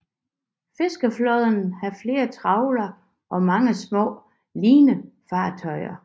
Fiskeflåden har flere trawlere og mange små linefartøjer